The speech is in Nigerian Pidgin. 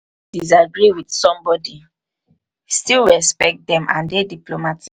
disagree with somebody still respect them and dey diplomatic